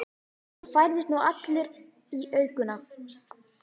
Og færðist nú allur í aukana.